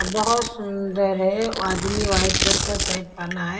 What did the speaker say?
बहुत सुंदर है आदमी वाइट रंग का शर्ट पहना है।